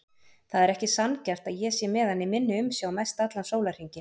Það er ekki sanngjarnt að ég sé með hann í minni umsjá mestallan sólarhringinn.